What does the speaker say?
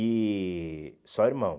E... Só irmão.